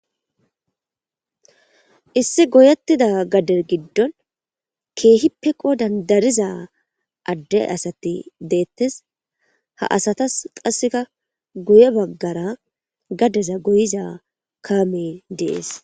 issi goyettida gadde giddon keehippe qodan dariza adde asati deettes ha asatas qasseka guye baggara gadeza goyiza kaame dees